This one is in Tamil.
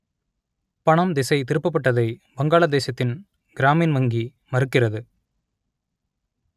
பணம் திசை திருப்பப்பட்டதை வங்காளதேசத்தின் கிராமின் வங்கி மறுக்கிறது